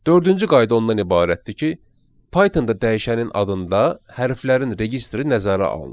Dördüncü qayda ondan ibarətdir ki, Pythonda dəyişənin adında hərflərin registri nəzərə alınır.